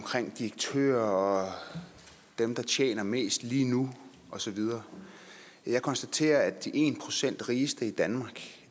direktører og dem der tjener mest lige nu og så videre jeg konstaterer at de en procent rigeste i danmark